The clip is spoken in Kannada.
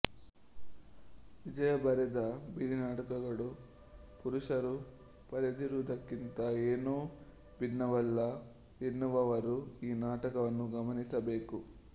ವಿಜಯಾ ಬರೆದ ಬೀದಿನಾಟಗಳು ಪುರುಷರು ಪರೆದಿರುವುದಕ್ಕಿಂತ ಏನೂ ಭಿನ್ನವಲ್ಲ ಎನ್ನುವವರು ಈ ನಾಟಕವನ್ನು ಗಮನಿಸಬೇಕು